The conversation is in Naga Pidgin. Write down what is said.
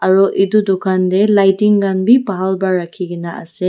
aru edu dukan tae lightning khan bi bhal pa rakhi na ase.